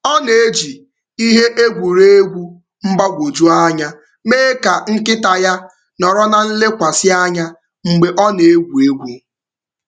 Ọ na-eji ihe egwuregwu mgbagwoju anya mee ka nkịta ya nọrọ na-elekwasị anya mgbe ọ na-egwu egwu.